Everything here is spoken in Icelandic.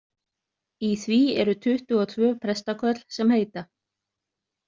Í því eru tuttugu og tvö prestaköll sem heita.